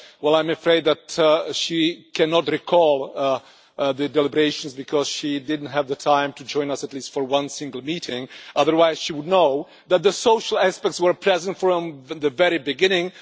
Well, I am afraid that she cannot recall the deliberations because she did not have the time to join us for one single meeting, otherwise she would know that the social aspects were present from the very beginning.